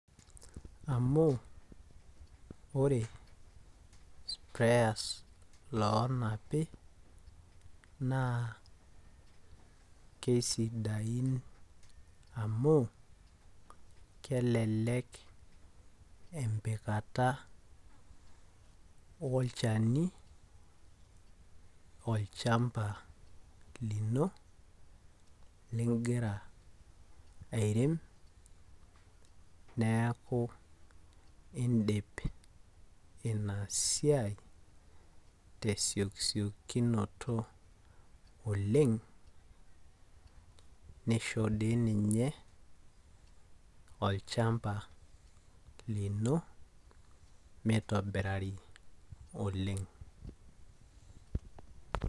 amu ore pee ess iloo napi naa kisidain amu kelelek empikata, olchani olchamba lino ligira airem neeku idip inasiai tesiokisiokinoto, oleng' nisho dii ninye olchamba lino mitobirari oleng'.